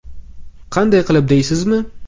Qanday qilib deysizmi?